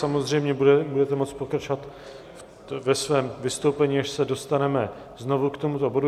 Samozřejmě budete moci pokračovat ve svém vystoupení, až se dostaneme znovu k tomuto bodu.